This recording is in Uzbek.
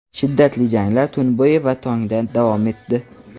Shiddatli janglar tun bo‘yi va tongda davom etdi.